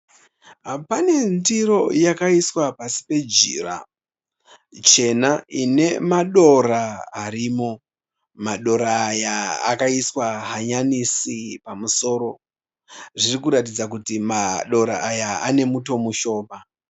Pane ndiro yakaiswa pasi pejira, chena inemadora arimo. Madora aya akaiswa hanyanisi pamuromo. Zvirikuradza kuti madora aya ane muto mushoma.